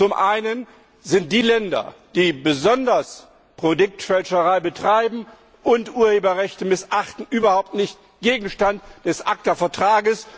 Zum Ersten sind die Länder, die besonders Produktfälscherei betreiben und Urheberrechte missachten, überhaupt nicht Gegenstand des ACTA Vertrags.